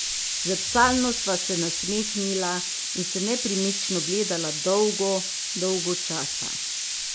Zrcalno sva se nasmehnila in se nepremično gledala dolgo, dolgo časa.